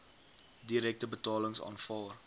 direkte betalings aanvaar